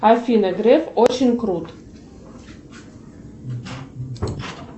афина греф очень крут